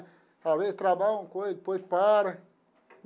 Trabalha uma coisa, depois para.